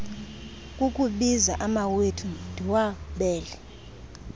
kukubiza amawethu ndiwabele